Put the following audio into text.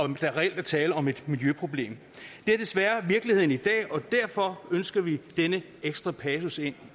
der reelt er tale om et miljøproblem det er desværre virkeligheden i dag og derfor ønsker vi denne ekstra passus ind